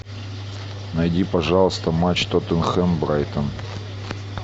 найди пожалуйста матч тоттенхэм брайтон